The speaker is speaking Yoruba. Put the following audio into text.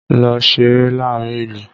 Lọ ṣeré láàárín ìlú!